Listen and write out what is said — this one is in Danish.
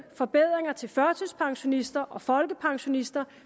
forbedringer til førtidspensionister og folkepensionister